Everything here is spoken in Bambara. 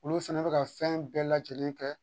Olu fɛnɛ bɛ ka fɛn bɛɛ lajɛlen kɛ